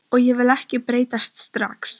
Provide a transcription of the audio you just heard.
Og ég vil ekki breytast strax.